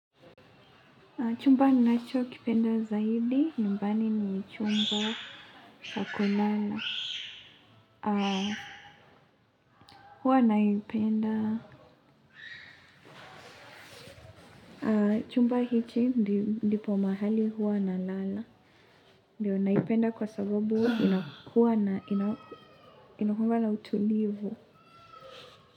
Chumba ninachokipenda zaidi, nyumbani ni chumba sha kulala. Huwa naipenda chumba hiki ndipo mahali huwa nalala ndio naipenda kwa sababu inakuwanga na utulivu.